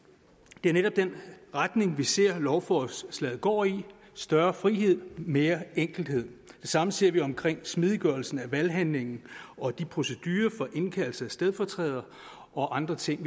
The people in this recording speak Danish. det er netop den retning vi ser at lovforslaget går i større frihed mere enkelhed det samme ser vi omkring smidiggørelse af valghandlingen og de procedurer for indkaldelse af stedfortrædere og andre ting